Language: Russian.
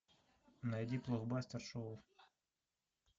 найди блокбастер шоу